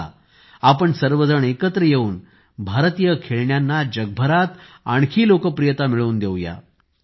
चलाआपण सर्वजण एकत्र येऊन भारतीय खेळण्यांना जगभरात आणखी लोकप्रियता मिळवून देऊया